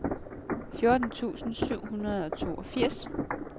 fjorten tusind syv hundrede og toogfirs